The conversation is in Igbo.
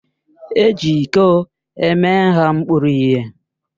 Eji ịko eme nha mkpuru ihe.